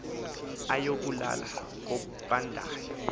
ayoku lala kobandayo